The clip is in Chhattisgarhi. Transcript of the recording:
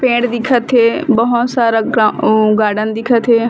पेड़ दिखत हे बहोत सारा गा ओ गार्डन दिखत हे।